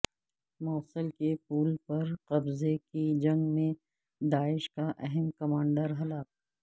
موصل کے پل پر قبضے کی جنگ میں داعش کا اہم کمانڈر ہلاک